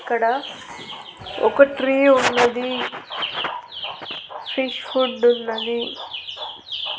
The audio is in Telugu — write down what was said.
ఇక్కడ ఒక ట్రీ ఉన్నది సీ ఫుడ్డున్నది .